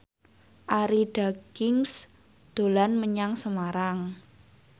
Arie Daginks dolan menyang Semarang